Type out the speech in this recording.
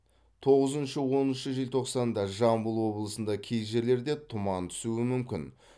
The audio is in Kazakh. тоғызыншы оныншы желтоқсанда жамбыл облысында кей жерлерде тұман түсуі мүмкін